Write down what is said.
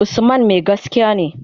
Usman mai gaskiya ne.